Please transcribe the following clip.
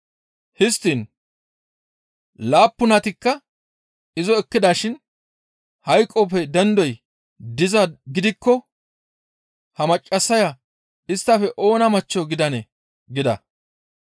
Histtiin laappunatikka izo ekkidashin hayqoppe dendoy dizaa gidikko ha maccassaya isttafe oona machcho gidanee?» gida.